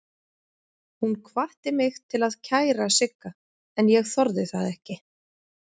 Hún hvatti mig til að kæra Sigga en ég þorði það ekki.